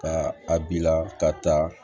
Ka a bila ka taa